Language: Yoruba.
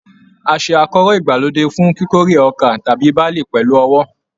A ṣe akọ́rọ́ ìgbàlódé fún kíkórè ọkà tàbí barley pẹlú ọwọ́